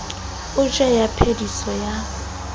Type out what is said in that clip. o tjhele ya phediso ya